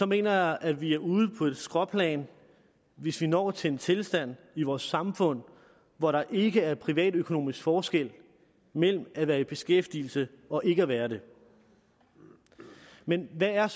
mener jeg at vi er ude på et skråplan hvis vi når til en tilstand i vores samfund hvor der ikke er privatøkonomisk forskel mellem at være i beskæftigelse og ikke at være det men hvad er